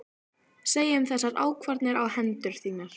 Segja um þessar ákvarðanir á hendur þínar?